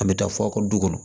An bɛ taa fɔ aw ka du kɔnɔ